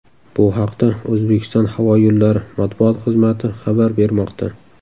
Bu haqda O‘zbekiston havo yo‘llari” matbuot xizmati xabar bermoqda .